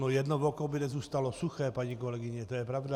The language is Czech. No jedno oko by nezůstalo suché, paní kolegyně, to je pravda.